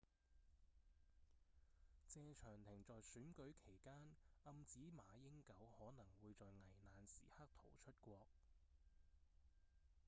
謝長廷在選舉期間暗指馬英九可能會在危難時刻逃出國